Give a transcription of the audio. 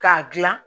K'a dilan